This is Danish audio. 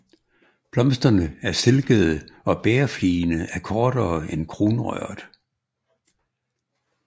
Blomsterne er stilkede og bægerfligene er kortere end kronrøret